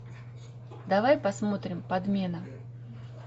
давай посмотрим подмена